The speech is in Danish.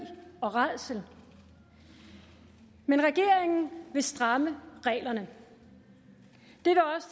og rædsel men regeringen vil stramme reglerne